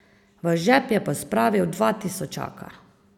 V žep je pospravil dva tisočaka.